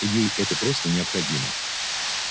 ей это просто необходимо